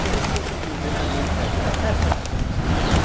Por isso que eu sou presidente do Grupo de Memórias.